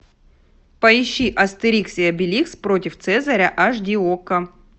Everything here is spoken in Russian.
поищи астерикс и обеликс против цезаря аш ди окко